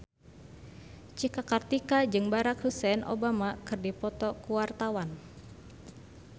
Cika Kartika jeung Barack Hussein Obama keur dipoto ku wartawan